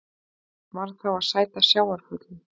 Varð þá að sæta sjávarföllum.